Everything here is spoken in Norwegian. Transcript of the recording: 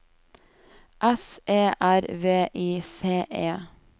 S E R V I C E